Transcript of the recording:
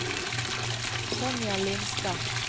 Sonja Lindstad